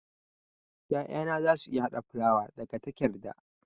'Ya'yana za su iya hada fulawa daga takerda.